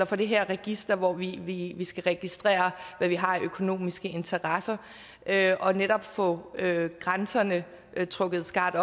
for det her register hvori vi skal registrere hvad vi har af økonomiske interesser er og netop få grænserne trukket skarpt